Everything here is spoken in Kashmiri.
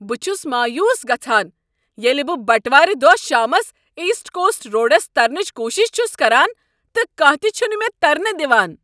بہٕ چھس مایوس گژھان ییٚلہ بہٕ بٹوار دۄہ شامس ایسٹ کوسٹ روڈس ترنٕچ کوٗشش چھس کران تہٕ کانٛہہ تِہ چھنہٕ مےٚ ترنہٕ دوان۔